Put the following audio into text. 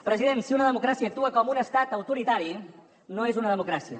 president si una democràcia actua com un estat autoritari no és una democràcia